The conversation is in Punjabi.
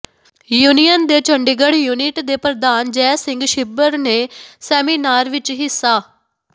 ਯੂਨੀਅਨ ਦੇ ਚੰਡੀਗੜ੍ਹ ਯੂਨਿਟ ਦੇ ਪ੍ਰਧਾਨ ਜੈ ਸਿੰਘ ਛਿੱਬਰ ਨੇ ਸੈਮੀਨਾਰ ਵਿਚ ਹਿੱਸਾ